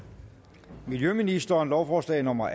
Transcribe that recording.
miljøministeren lovforslag nummer